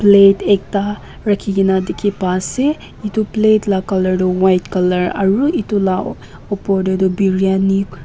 plate ekta rakhikena dekhe pa ase etu plate la colour tuh white colour aro etu la opor dae tuh briyani-.